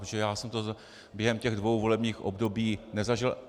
Protože já jsem to během těch dvou volebních období nezažil.